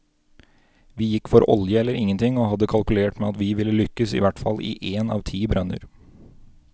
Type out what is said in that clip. Vi gikk for olje eller ingenting, og hadde kalkulert med at vi ville lykkes i hvert fall i én av ti brønner.